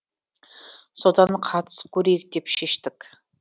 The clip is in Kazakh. содан қатысып көрейік деп шештік